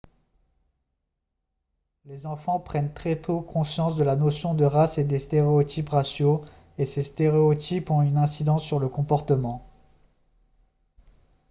les enfants prennent très tôt conscience de la notion de race et des stéréotypes raciaux et ces stéréotypes ont une incidence sur le comportement